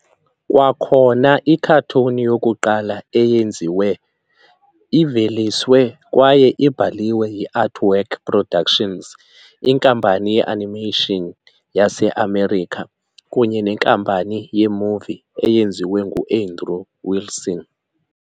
Kwakhona i-cartoon yokuqala eyenziwe, iveliswe kwaye ibhaliwe yi-Artwork Productions, inkampani ye-animation yase-America kunye nenkampani ye-movie eyenziwe ngu-Andrew Wilson.